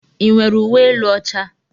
Ị nwere uwe elu ọcha?